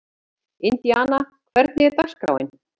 Indíana, hvernig er dagskráin?